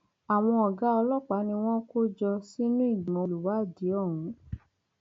àwọn ọgá ọlọpàá ni wọn kò jọ sínú ìgbìmọ olùwádìí ọhún